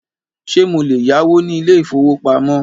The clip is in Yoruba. Ṣé mo lè yáwó ní ilé ìfọwọ́pamo?